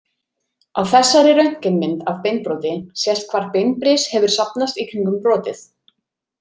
Á þessari röntgenmynd af beinbroti sést hvar beinbris hefur safnast í kringum brotið.